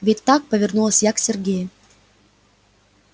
ведь так повернулась я к сергею